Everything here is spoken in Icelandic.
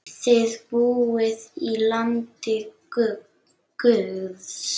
Þið búið í landi guðs.